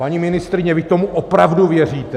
Paní ministryně, vy tomu opravdu věříte?